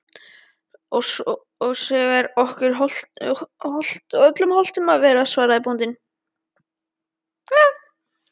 Og svo er okkur öllum hollt að vera, svaraði bóndinn.